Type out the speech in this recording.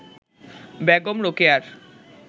Begum রোকেয়ার